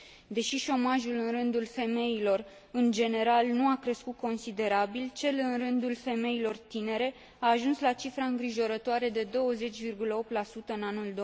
Deși șomajul în rândul femeilor în general nu a crescut considerabil, cel în rândul femeilor tinere a ajuns la cifra îngrijorătoare de 20,8 în anul